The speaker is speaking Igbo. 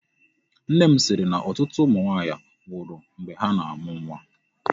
Nne m sịrị na ọtụtụ ụmụ nwaanyị nwụrụ mgbe ha na-amụ nwa.